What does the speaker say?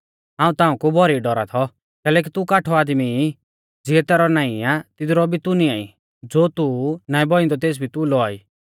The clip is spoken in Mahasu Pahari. हाऊं ताऊं कु भौरी डौरा थौ कैलैकि तू काठौ आदमी ई ज़ियै तैरौ नाईं आ तिदरु भी तू निंआई ज़ो तू नाईं बौइंदौ तेस भी तू लौआ ई